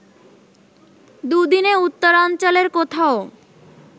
দুদিনে উত্তরাঞ্চলের কোথাও